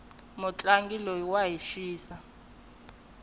mutlangi loyi wa hi xisa